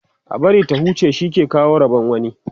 a bari ta huce shi ke kawo Rabon wani